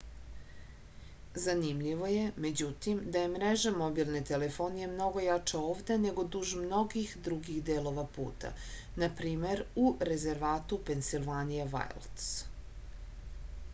zanimljivo je međutim da je mreža mobilne telefonije mnogo jača ovde nego duž mnogih drugih delova puta npr u rezervatu pensilvanija vajlds